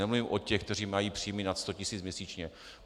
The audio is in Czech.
Nemluvím o těch, kteří mají příjmy nad 100 tisíc měsíčně.